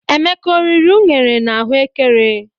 Emeka ọ riri unere na ahụ ékẹrè?